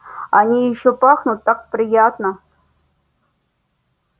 они ещё пахнут так приятно